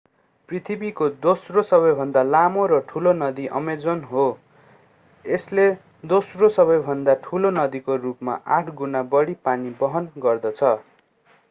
पृथ्वीको दोस्रो सबैभन्दा लामो र ठूलो नदी अमेजन हो यसले दोस्रो सबैभन्दा ठूलो नदीको रूपमा 8 गुणा बढी पानी वहन गर्दछ